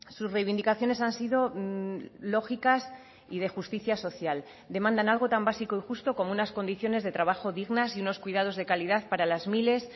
sus reivindicaciones han sido lógicas y de justicia social demandan algo tan básico y justo como unas condiciones de trabajo dignas y unos cuidados de calidad para las miles